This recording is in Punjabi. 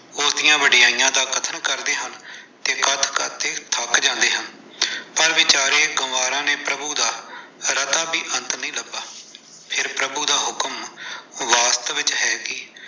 ਉਹਦੀਆਂ ਵਡਿਆਈਆਂ ਦਾ ਕਥਨ ਕਰਦੇ ਹਾਂ ਤੇ ਕੱਥ-ਕੱਥ ਕੇ ਥੱਕ ਜਾਨੇ ਆਂ, ਪਰ ਵਿਚਾਰੇ ਗਵਾਰਾਂ ਨੇ, ਪ੍ਰਭੂ ਦਾ ਰਤਾ ਵੀ ਅੰਤ ਨਹੀਂ ਲੱਭਾ। ਕਿ ਪ੍ਰਭੂ ਦਾ ਹੁਕਮ ਵਾਸਤਵ ਵਿੱਚ ਹੈ ਕੀ।